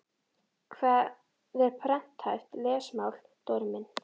Hvað er prenthæft lesmál Dóri minn?